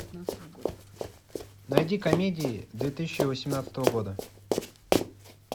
найди комедии две тысячи восемнадцатого года